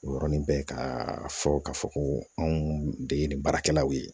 O yɔrɔnin bɛɛ ka fɔ k'a fɔ ko anw de ye nin baarakɛlaw ye